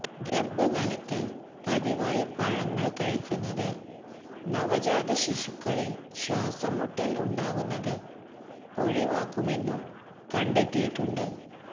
ഗർഭകാലത്ത് പതിവായി പഴങ്ങൾ കഴിക്കുന്നത് നവജാത ശിശുക്കളിൽ ശ്വാസംമുട്ടൽ ഉണ്ടാകുന്നത് ഒഴിവാക്കുമെന്നും കണ്ടെത്തിയിട്ടുണ്ട്